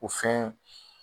O fɛn